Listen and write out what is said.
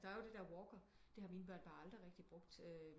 Der er jo det der Walker det har mine børn bare aldrig rigtigt brugt